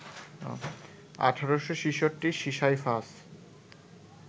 ১৮৬৬ Sisyphus